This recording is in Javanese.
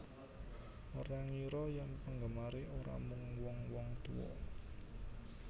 Ora ngira yen penggemare ora mung wong wong tuwa